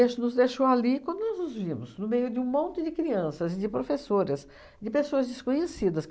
nos deixou ali e quando nós nos vimos, no meio de um monte de crianças, de professoras, de pessoas desconhecidas.